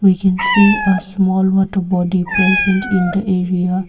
we can see a small water body present in the area.